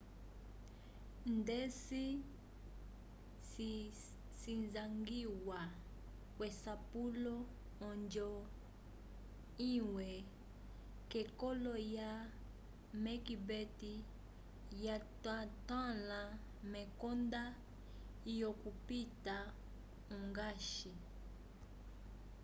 ndeci cisangiwa k'esapulo onjo imwe k'ekololo lya macbeth yatotãla mekonda lyokupita ongash